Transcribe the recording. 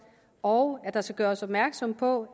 og at der skal gøres opmærksom på